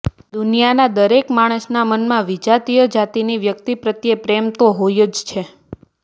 દુનિયાના દરેક માણસના મનમાં વિજાતીય જાતિની વ્યક્તિ પ્રત્યે પ્રેમ તો હોય જ છે